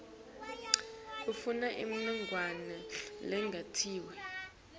ufuna imininingwane lengetiwe